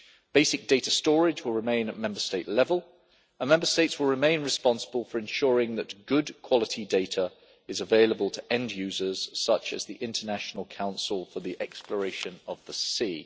Basic data storage will remain at Member State level, and Member States will remain responsible for ensuring that good quality data is available to end users such as the International Council for the Exploration of the Sea.